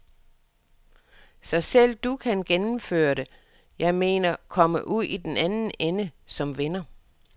Så selv du kan gennemføre det, jeg mener komme ud i den anden ende som vinder.